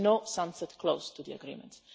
there is no sunset clause to the agreement.